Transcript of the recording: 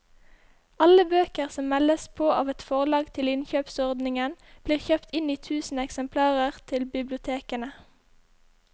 Alle bøker som meldes på av et forlag til innkjøpsordningen blir kjøpt inn i tusen eksemplarer til bibliotekene.